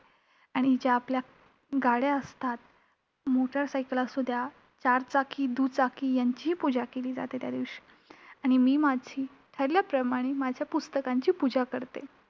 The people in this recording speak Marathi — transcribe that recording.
आणि ज्या आपल्या गाड्या असतात, motor cycle असू द्या, चार चाकी, दुचाकी यांचीही पूजा केली जाते त्यादिवशी. आणि मी माझी ठरल्याप्रमाणे माझ्या पुस्तकांची पूजा करते.